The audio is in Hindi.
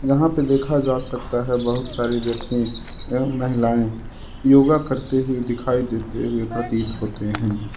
यहां पर देखा जा सकता है बहुत सारे व्यक्ति एवं महिलाएं योगा करते हुए दिखाई देते हुए प्रतीत होते हैं।